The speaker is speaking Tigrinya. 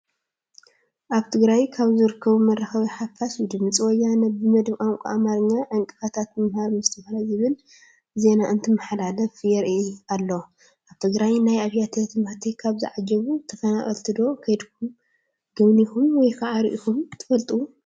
ኣብ ትግራይ ካብ ዝርከቡ መራኸብቲ ሓፋሽ ብድምፂ ወያነ ብመደብ ቋንቋ ኣማርኛ ዕንቅፋታት ምምሃር ምስትምሃር ዝብል ዜና እንትመሓላለፍ የርኢ ኣሎ፡፡ ኣብ ናይ ትግራይ ኣብያተ ት/ቲ ካብ ዝዓቖቡ ተፈናቐልቲ ዶ ከይድኩም ጎብኒኹም ወይ ከዓ ሪኢኹም ትፈልጡ?